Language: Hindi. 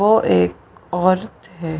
वो एक औरत है।